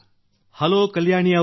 hello Kalyani ಅವರೆ